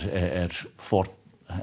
er forn